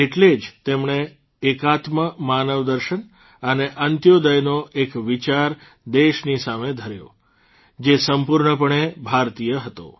એટલે જ તેમણે એકાત્મ માનવદર્શન અને અંત્યોદયનો એક વિચાર દેશની સામે ધર્યો જે સંપૂર્ણપણે ભારતીય હતો